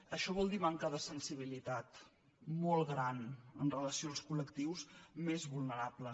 això vol dir manca de sensibilitat molt gran amb relació als col·lectius més vulnerables